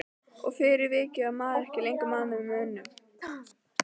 Og fyrir vikið var maður ekki lengur maður með mönnum.